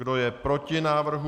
Kdo je proti návrhu?